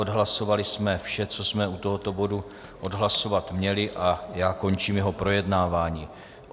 Odhlasovali jsme vše, co jsme u tohoto bodu odhlasovat měli, a já končím jeho projednávání.